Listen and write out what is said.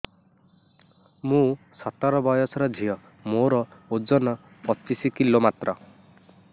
ମୁଁ ସତର ବୟସର ଝିଅ ମୋର ଓଜନ ପଚିଶି କିଲୋ ମାତ୍ର